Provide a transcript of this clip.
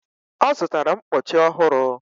ọ zụtara mkpọchi ọhụrụ